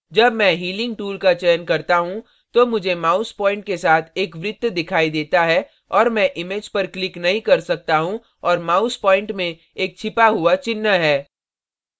जब मैं healing tool का चयन करता हूँ तो मुझे mouse point के साथ एक वृत्त दिखाई देता है और मैं image पर click नहीं कर सकता हूँ और mouse point में एक छिपा हुआ चिन्ह है